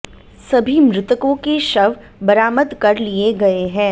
सभी मृतकों के शव बरामद कर लिए गए हैं